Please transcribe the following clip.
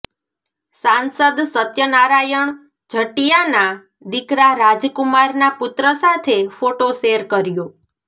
સાંસદ સત્યનારાયણ જટિયાના દીકરા રાજકુમારના પુત્ર સાથે ફોટો શેર કર્યો